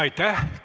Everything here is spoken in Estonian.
Aitäh!